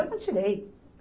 Eu não tirei.